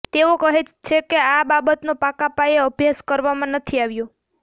તેઓ કહે છે કે આ બાબતનો પાકા પાયે અભ્યાસ કરવામાં નથી આવ્યો